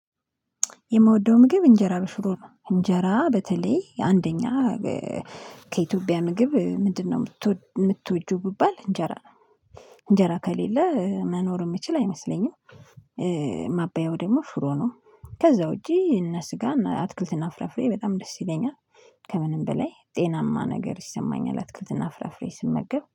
የምወደው ምግብ እንጀራ በሽሮ ነው እንጀራ በተለይ አንደኛ ከኢትዮጵያ ምግብ ምንድነው? የምትወጂው ብባል እንጀራ እንጀራ ከሌለ መኖር የምችል አይመስለኝም። ማበያው ደግሞ ሽሮ ነው። ከዛ ውጪ እነ ስጋ እና አትክልትና ፍራፍሬ በጣም ደስ ይለኛል። ከምንም በላይ ጤናማ ነገር ይሰማኛል አትክልትና ፍራፍሬ ስመገብ